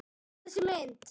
Þessi mynd